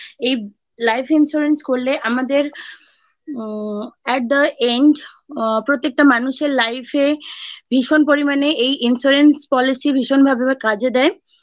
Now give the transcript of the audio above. এই life insurance করলে আমাদের আ at the end প্রত্যেকটা মানুষের life এ ভীষণ পরিমাণে এই insurance policy ভীষণ ভাবে কাজে দেয়